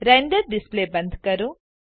render display બંધ કરો